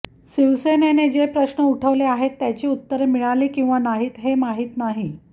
शिवसेनेने जे प्रश्न उठवले आहेत त्याची उत्तरे मिळाली किंवा नाहीत हे माहीत नाही